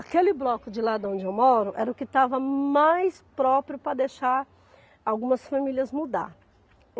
Aquele bloco de lá de onde eu moro era o que estava mais próprio para deixar algumas famílias mudarem.